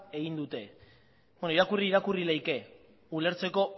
egin dute beno irakurri irakurri liteke ulertzeko